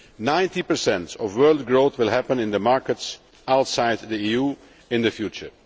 Ninety per cent of world growth will happen in the markets outside the EU in the future.